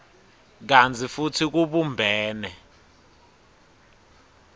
kantsi futsi kubumbene